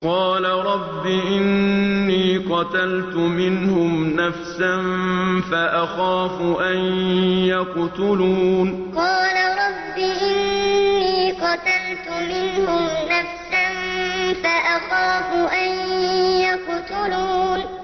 قَالَ رَبِّ إِنِّي قَتَلْتُ مِنْهُمْ نَفْسًا فَأَخَافُ أَن يَقْتُلُونِ قَالَ رَبِّ إِنِّي قَتَلْتُ مِنْهُمْ نَفْسًا فَأَخَافُ أَن يَقْتُلُونِ